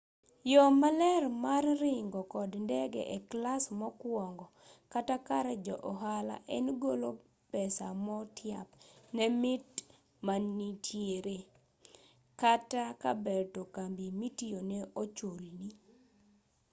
yo maler mar ringo kod ndege e class mokuongo kata kar jo-ohala en golo pesa motiap ne mit mantiere kata kaber to kambi mitiyone ochulni